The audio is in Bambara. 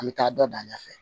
An bɛ taa dɔ dan ɲɛ fɛ